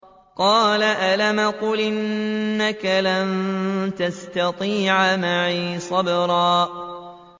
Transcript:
قَالَ أَلَمْ أَقُلْ إِنَّكَ لَن تَسْتَطِيعَ مَعِيَ صَبْرًا